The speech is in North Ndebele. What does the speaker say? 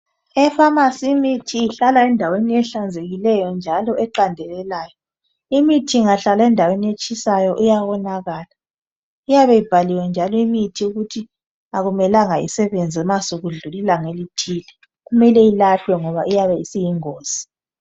Efamasi imithi ihlala endaweni ehlanzekileyo njalo eqandelelayo. Imithi ingahlala endaweni etshisayo iyawonakala, iyabe ibhaliwe njalo limithi ukuthi ayimelanga isebenze nxa sekudlulile ilanga elithile. Kumele ilahlwe ngoba iyabe isiyingozi.